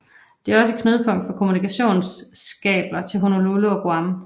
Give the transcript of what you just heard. Det er også et knudepunkt for kommunikationskabler til Honolulu og til Guam